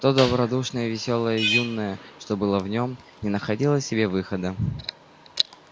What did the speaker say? то добродушное весёлое юное что было в нём не находило себе выхода